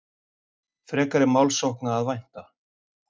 Frekari málssókna að vænta